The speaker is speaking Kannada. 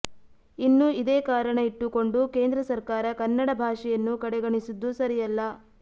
ಇನ್ನು ಇದೇ ಕಾರಣ ಇಟ್ಟುಕೊಂಡು ಕೇಂದ್ರ ಸರ್ಕಾರ ಕನ್ನಡ ಭಾಷೆಯನ್ನು ಕಡೆಗಣಿಸಿದ್ದು ಸರಿಯಲ್ಲ